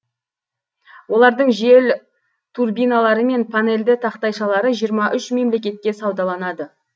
олардың жел турбиналары мен панельді тақтайшалары жиырма үш мемлекетке саудаланады